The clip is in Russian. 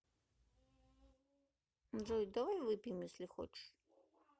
джой давай выпьем если хочешь